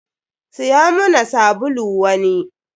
Siya muna sabulu wani.